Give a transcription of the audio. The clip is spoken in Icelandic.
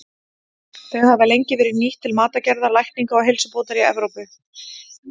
Þau hafa lengi verið nýtt til matargerðar, lækninga og heilsubótar í Evrópu.